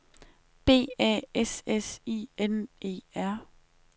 B A S S I N E R